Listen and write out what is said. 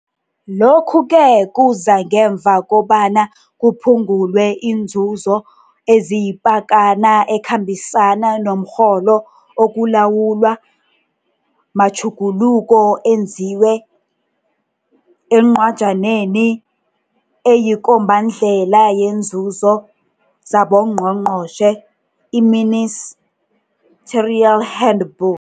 Lokhuke kuza ngemva kobana kuphungulwe iinzuzo eziyipakana ekhambisana nomrholo okulawulwa matjhuguluko enziwe eNcwajaneni eyiKombandlela yeeNzuzo zaboNgqongqotjhe, i-Ministerial Handbook.